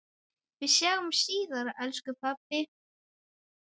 Við sjáumst síðar elsku pabbi.